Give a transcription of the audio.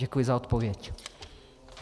Děkuji za odpověď.